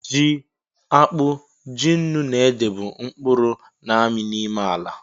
Ji, akpu, ji ńnú na ede, bu mkpuru na-ami n'ime ala